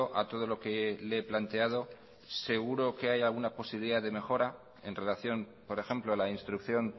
a todo lo que le he planteado seguro que hay alguna posibilidad de mejora en relación por ejemplo a la instrucción